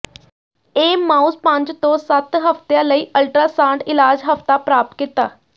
ਇਹ ਮਾਊਸ ਪੰਜ ਤੋਂ ਸੱਤ ਹਫ਼ਤਿਆਂ ਲਈ ਅਲਟਰਾਸਾਡ ਇਲਾਜ ਹਫ਼ਤਾ ਪ੍ਰਾਪਤ ਕੀਤਾ